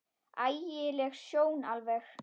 Ægi leg sjón alveg.